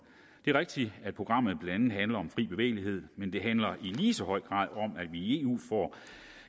det er rigtigt at programmet blandt andet handler om fri bevægelighed men det handler i lige så høj grad om at vi i eu får